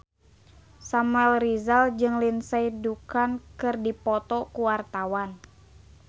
Samuel Rizal jeung Lindsay Ducan keur dipoto ku wartawan